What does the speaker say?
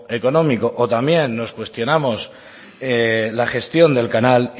económico o también nos cuestionamos la gestión del canal